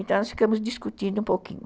Então, nós ficamos discutindo um pouquinho.